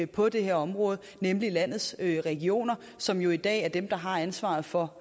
på det her område nemlig landets regioner som jo i dag er dem der har ansvaret for